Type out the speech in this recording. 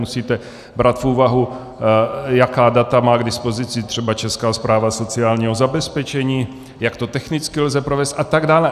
Musíte brát v úvahu, jaká data má k dispozici třeba Česká správa sociálního zabezpečení, jak to technicky lze provést a tak dále.